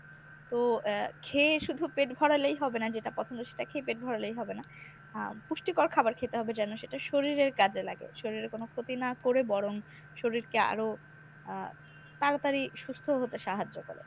তো এর খেয়ে শুধু পেটা ভরালেই হবে না যেটা পছন্দ সেটা খেয়ে পেট ভরালেই হবে না আহ পুষ্টিকর খাবার খেতে হবে যেনো সেটা শরীরের কাজে লাগে শরীরের কোনো ক্ষতি না করে বরং শরীরকে আরো আহ তাড়াতাড়ি সুস্থ হতে সাহায্য করে।